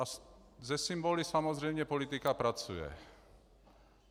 A se symboly samozřejmě politika pracuje.